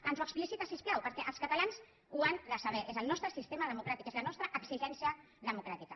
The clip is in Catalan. ens ho explicita si us plau perquè els catalans ho han de saber és el nostre sistema democràtic és la nostra exigència democràtica